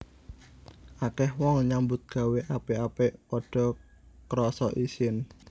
Akeh wong nyambut gawé apik apik padha krasa isin